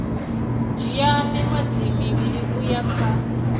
dzhia miṅwedzi mivhili uya kha